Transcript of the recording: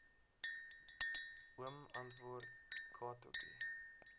oom antwoord katotjie